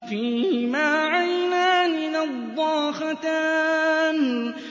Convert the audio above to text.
فِيهِمَا عَيْنَانِ نَضَّاخَتَانِ